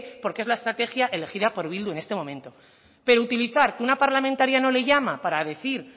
porque es la estrategia elegida por bildu en este momento pero utilizar que una parlamentaria no le llama para decir